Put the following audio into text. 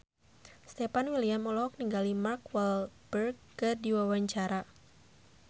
Stefan William olohok ningali Mark Walberg keur diwawancara